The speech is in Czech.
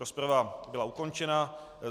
Rozprava byla ukončena.